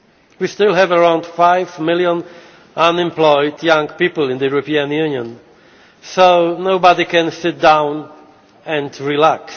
We still have around five million unemployed young people in the European Union, so nobody can sit down and relax.